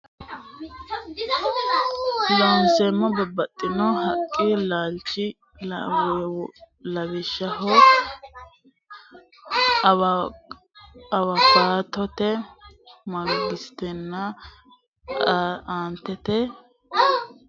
Looseemmo Babbaxxino haqqi laalchinni lawishsho awukaatote mangotenna aantete ronseemmhu ganyi pappaayyu haqqenni egennantinota su manna gurdu handaaraati Looseemmo Babbaxxino Looseemmo.